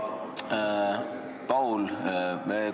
Hea Paul!